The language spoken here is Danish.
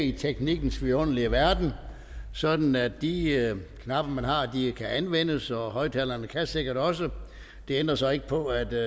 i teknikkens vidunderlige verden sådan at de knapper man har kan anvendes og højtalerne kan sikkert også det ændrer så ikke på at det